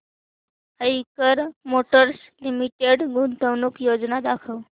Eicher motors limited गुंतवणूक योजना दाखव